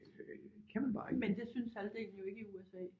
Det kan man bare ikke